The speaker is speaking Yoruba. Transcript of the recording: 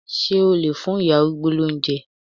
Ṣé o lè fún ìyá arúgbó lóúnjẹ?